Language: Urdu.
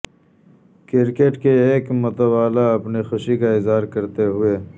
کرکٹ کے ایک متوالا اپنی خوشی کا اظہار کرتے ہوئے